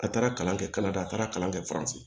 A taara kalan kɛ kalanden a taara kalan kɛ faransi